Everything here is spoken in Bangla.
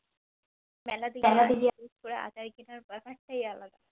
মেলাতে গিয়ে আচার কিনার বেপারটাই আলাদা